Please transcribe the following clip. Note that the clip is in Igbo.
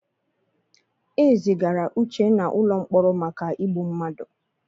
E zigara Uchenna ụlọ mkpọrọ maka igbu mmadụ.